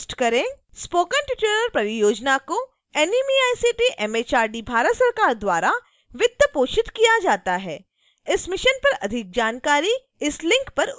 spoken tutorial परियोजना को NMEICT MHRD Bharat सरकार द्वारा वित्त पोषित किया जाता है इस मिशन पर अधिक जानकारी इस लिंक पर उपलब्ध है